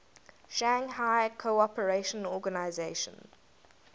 shanghai cooperation organization